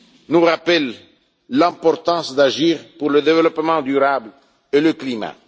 nous rappelle l'importance d'agir pour le développement durable et le climat.